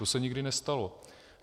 To se nikdy nestalo.